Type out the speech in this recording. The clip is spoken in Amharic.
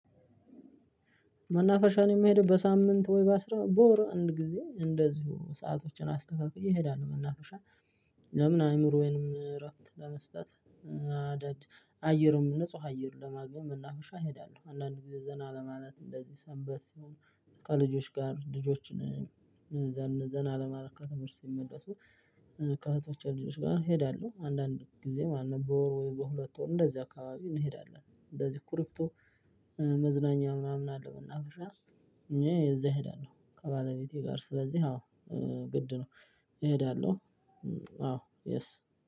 መናፈሻ እኔ የምሄደው በሳምንት ወይ በአስራ በወር አንድ ጊዜ እንደዚሁ ሰአቶችን አስተካክዬ እሄዳለሁ መናፈሻ። ለምን አይምሮዬንም እረፍት ለመስጠት እና አንዳድ አየሩም ንጹህ አየር ለማግኘት መናፈሻ እሄዳለሁ። አንዳንድ ጊዜ ዘና ለማለት እንደዚህ ሰንበት ሲሆን። ከልጆች ጋር ልጆችን ዘና ለማድረግ ከትምህርት ሲመለሱ። ከእህቶቼ ልጆች ጋር እሄዳለሁ አንዳንድ ጊዜ ማለት ነው። በወር ወይ በሁለት ወር እንደዚህ አካባቢ እንሄዳለን። እንደዚህ ክሪፕቶ መዝናኛ ምናምን አለው። መናፈሻ እኔ እዛ እሄዳለሁ። ከባለቤቴ ጋር ስለዚህ አዎ ግድ ነው እሄዳለሁ። አዎ የስ